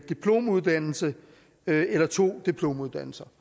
diplomuddannelse eller to diplomuddannelser